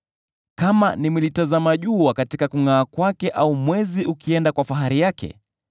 kama nimelitazama jua katika kungʼaa kwake au mwezi ukienda kwa fahari yake,